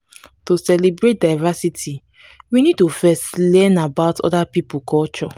to celebrate diversity we need to first learn about oda pipo culture